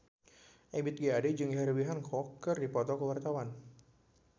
Ebith G. Ade jeung Herbie Hancock keur dipoto ku wartawan